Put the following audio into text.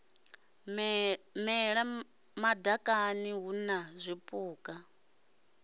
mela madakani hu na zwipuka